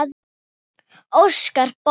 Óskar Borg.